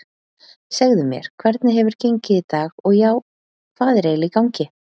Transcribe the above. Segðu mér, hvernig hefur gengið í dag og já, hvað er eiginlega í gangi?